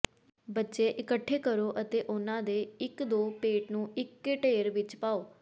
ਬੱਚੇ ਇਕੱਠੇ ਕਰੋ ਅਤੇ ਉਨ੍ਹਾਂ ਦੇ ਇੱਕ ਦੋ ਪੇਟ ਨੂੰ ਇੱਕ ਢੇਰ ਵਿੱਚ ਪਾਓ